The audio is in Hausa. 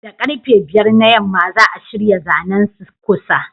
Da karfe 5 na yamma za'a shirya zanen ku Sir